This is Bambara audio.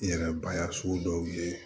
N yɛrɛbaya sugu dɔw ye